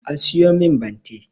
A siyo min bante